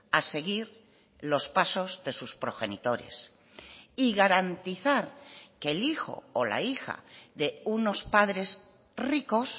a seguir los pasos de sus progenitores y garantizar que el hijo o la hija de unos padres ricos